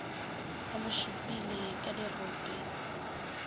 ba mo šupile ka dirope